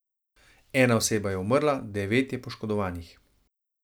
Ena oseba je umrla, devet je poškodovanih.